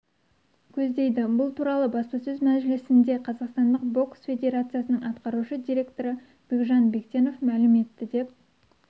көздейді бұл туралы баспасөз мәжілісінде қазақстандық бокс федерациясының атқарушы директоры бекжан бектенов мәлім етті деп